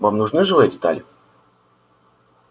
вам нужны живые детали